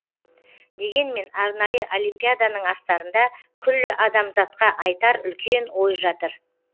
дегенмен арнайы олимпиаданың астарында күллі адамзатқа айтар үлкен ой жатыр